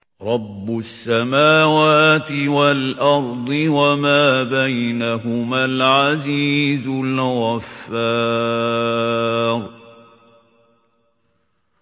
رَبُّ السَّمَاوَاتِ وَالْأَرْضِ وَمَا بَيْنَهُمَا الْعَزِيزُ الْغَفَّارُ